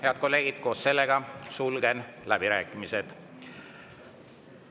Head kolleegid, koos sellega sulgen läbirääkimised.